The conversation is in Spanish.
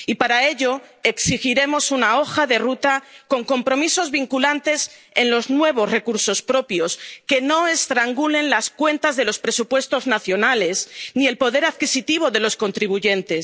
Y para ello exigiremos una hoja de ruta con compromisos vinculantes en los nuevos recursos propios que no estrangulen las cuentas de los presupuestos nacionales ni el poder adquisitivo de los contribuyentes.